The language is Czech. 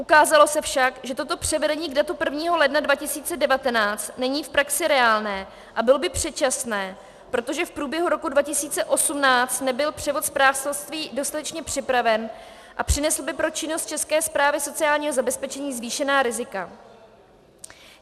Ukázalo se však, že toto převedení k datu 1. ledna 2019 není v praxi reálné a bylo by předčasné, protože v průběhu roku 2018 nebyl převod správcovství dostatečně připraven a přinesl by pro činnost České správy sociálního zabezpečení zvýšená rizika.